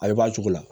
A bɛ bɔ a cogo la